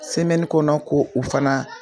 kɔnɔ ko u fana.